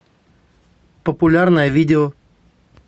популярное видео